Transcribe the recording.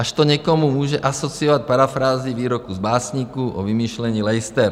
Až to někomu může asociovat parafrázi výroků z Básníků o vymýšlení lejster.